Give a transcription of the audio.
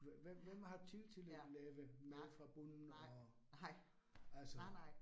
Hvem hvem hvem har tid til at lave noget fra bunden og altså